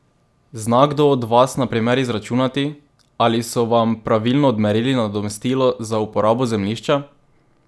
Zna kdo od vas na primer izračunati, ali so vam pravilno odmerili nadomestilo za uporabo zemljišča?